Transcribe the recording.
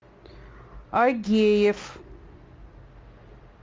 агеев